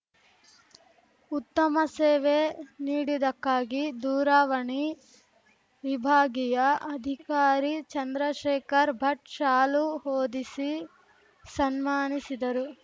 ಉತ್ತಮ ಸೇವೆ ನೀಡಿದಕ್ಕಾಗಿ ದೂರವಾಣಿ ವಿಭಾಗೀಯ ಅಧಿಕಾರಿ ಚಂದ್ರಶೇಖರ್‌ ಭಟ್‌ ಶಾಲು ಹೊದಿಸಿ ಸನ್ಮಾನಿಸಿದರು